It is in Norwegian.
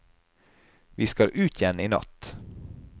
Vi skal ut igjen i natt.